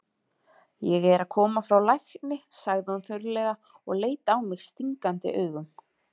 Ég er að koma frá lækni, sagði hún þurrlega og leit á mig stingandi augum.